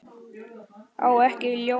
Á ekki ljónið.